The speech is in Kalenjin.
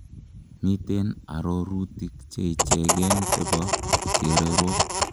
miten arorutik cheichegen chebo chererok